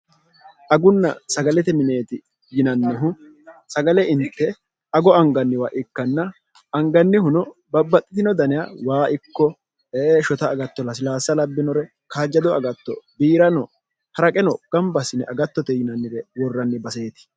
agunna sagalete mineeti yinannihu sagale inte ago anganniwa ikkanna angannihuno babbaxxitino daniya waa ikko e shot agattol silasa labbinore kaajjado agatto biirano haraqeno gambasine agattote yinannire worranni baseeti